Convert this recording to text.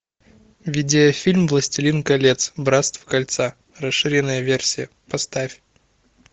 видеофильм властелин колец братство кольца расширенная версия поставь